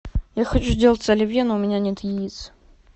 я хочу сделать оливье но у меня нет яиц